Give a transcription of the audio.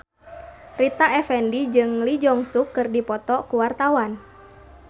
Rita Effendy jeung Lee Jeong Suk keur dipoto ku wartawan